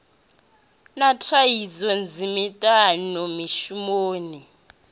na thaidzo nnzhi miṱani mishumoni